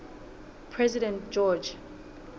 president george